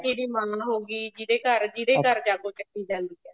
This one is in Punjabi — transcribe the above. ਲੜਕੇ ਦੀ ਮਾਂ ਹੋ ਗਈ ਜਿਹਦੇ ਘਰ ਜਿਹਦੇ ਘਰ ਜਾਗੋ ਚੱਕੀ ਜਾਂਦੀ ਹੈ